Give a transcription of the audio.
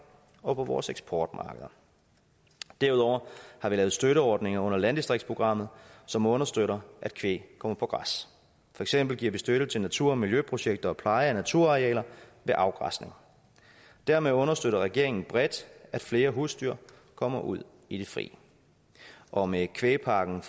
og på vores eksportmarkeder derudover har vi lavet støtteordninger under landdistriktsprogrammet som understøtter at kvæg kommer på græs for eksempel giver vi støtte til natur og miljøprojekter og pleje af naturarealer ved afgræsning dermed understøtter regeringen bredt at flere husdyr kommer ud i det fri og med kvægpakken